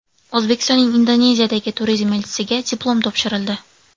O‘zbekistonning Indoneziyadagi turizm elchisiga diplom topshirildi.